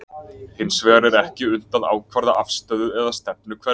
Hins vegar er ekki unnt að ákvarða afstöðu eða stefnu hverfiþungans.